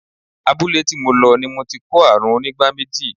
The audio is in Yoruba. Abúlé tí mo lọ ni mo ti ko àrùn onígbá méjì.